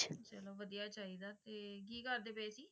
ਚਲੋ ਵਧੀਆ ਚਾਹੀਦਾ ਤੇ ਕੀ ਕਰਦੇ ਪਏ ਸੀ?